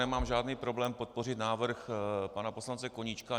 Nemám žádný problém podpořit návrh pana poslance Koníčka.